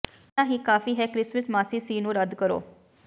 ਪਹਿਲਾਂ ਹੀ ਕਾਫ਼ੀ ਹੈ ਕ੍ਰਿਸਮਸ ਮਾਸੀ ਸੀ ਨੂੰ ਰੱਦ ਕਰੋ